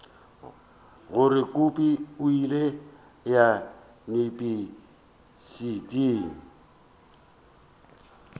gore kobi o ile yunibesithing